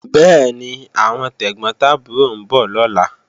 Bẹ́ẹ̀ni, àwọn tẹ̀gbọ́n tàbúrò ń bọ̀ lọ́la